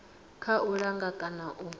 kha u langa kana u